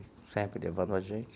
Sempre levando a gente.